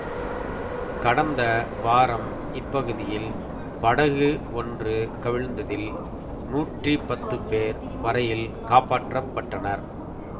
கடந்த வாரம் இப்பகுதியில் படகு ஒன்று கவிழ்ந்ததில் நூற்றி பத்து பேர் வரையில் காப்பாற்றப்பட்டனர்